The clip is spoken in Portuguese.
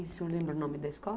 E o senhor lembra o nome da escola?